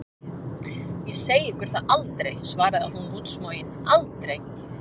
Ég segi ykkur það aldrei, svarði hún útsmogin, aldrei!